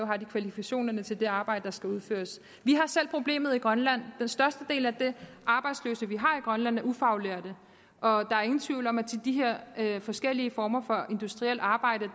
har kvalifikationerne til det arbejde der skal udføres vi har selv problemet i grønland den største del af de arbejdsløse vi har i grønland er ufaglærte og der er ingen tvivl om at til de her forskellige former for industrielt arbejde